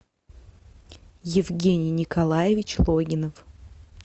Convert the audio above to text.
евгений николаевич логинов